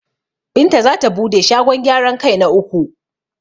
Binta zata bude shagon gyaran kai na uku.